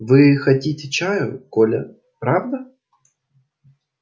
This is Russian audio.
вы хотите чаю коля правда